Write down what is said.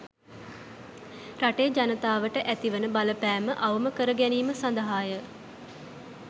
රටේ ජනතාවට ඇතිවන බලපෑම අවම කරගැනීම සඳහාය